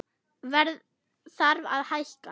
Verð þarf að hækka